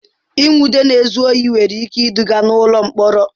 Ịnwụde na-ezu ohi nwere ike iduga n'ụlọ mkpọrọ.